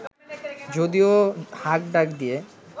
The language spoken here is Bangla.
যদিও হাক ডাক দিয়ে